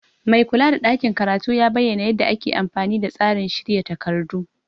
Maikula da ɗakin karatu ya bayyana yadda ake amfani da tsarin shirya takardu.